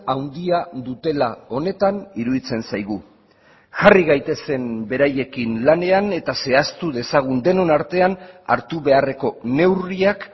handia dutela honetan iruditzen zaigu jarri gaitezen beraiekin lanean eta zehaztu dezagun denon artean hartu beharreko neurriak